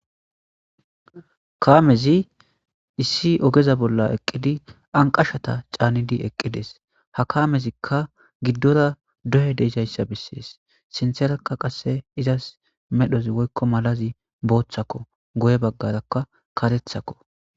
Kaamezi issi ogeza bolla eqqidi anqashata caanidi eqqides ha kaamezikka giddora doye deesayssa bissees sinterakka qasse izas medhoz woykko malazi booththakko goye baggarakka karethakko.